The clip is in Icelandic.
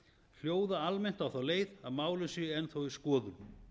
hljóða almennt á þá leið að málin séu enn þá í skoðun